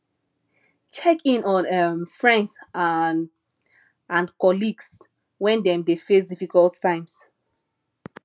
check in on um friends um and colleagues when dem dey face difficult times